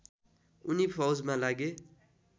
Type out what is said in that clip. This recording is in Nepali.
उनी फौजमा लागे